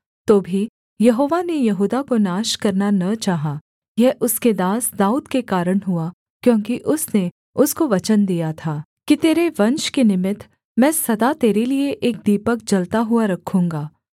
तो भी यहोवा ने यहूदा को नाश करना न चाहा यह उसके दास दाऊद के कारण हुआ क्योंकि उसने उसको वचन दिया था कि तेरे वंश के निमित्त मैं सदा तेरे लिये एक दीपक जलता हुआ रखूँगा